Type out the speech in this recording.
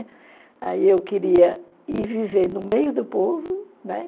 Aí eu queria ir viver no meio do povo, né?